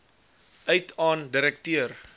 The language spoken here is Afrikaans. uit aan direkteur